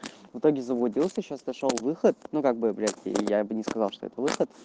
в итоге заблудился сейчас нашёл выход ну как бы блять я бы не сказал что это выход